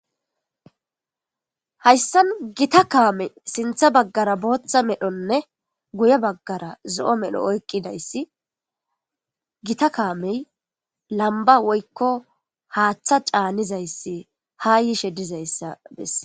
hayssan gita kaame sintha baggara booththa medhonne guye baggara zo'o medho oykqidayssi gita kaamey lamba woykko haaththa caanizayssi ha yishe dizayssa besses